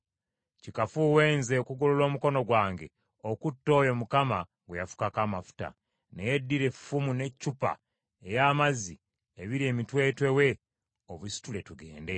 Kikafuuwe nze okugolola omukono gwange okutta oyo Mukama gwe yafukako amafuta. Naye ddira effumu n’eccupa ey’amazzi ebiri emitwetwe we obisitule tugende.”